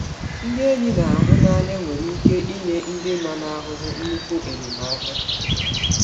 Ndị enyi na-ahụ n’anya nwere ike inye ndị nọ n’ahụhụ nnukwu enyemaka.